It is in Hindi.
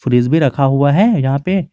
फ्रिज भी रखा हुआ है यहां पे।